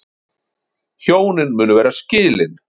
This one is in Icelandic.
Hjónin munu vera skilin